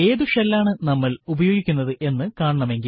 ഏതു ഷെൽ ആണ് നമ്മൾ ഉപയോഗിക്കുന്നത് എന്ന് കാണണമെങ്കിൽ